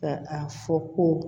Ka a fɔ ko